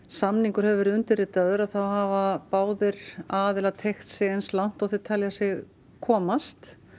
samningur hefur verið undirritaður þá hafa báðir aðilar teygt sig eins langt og þeir telja sig komast